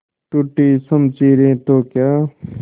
टूटी शमशीरें तो क्या